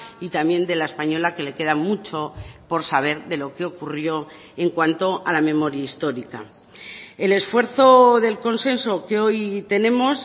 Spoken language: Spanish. y también de la española que le queda mucho por saber de lo que ocurrió en cuanto a la memoria histórica el esfuerzo del consenso que hoy tenemos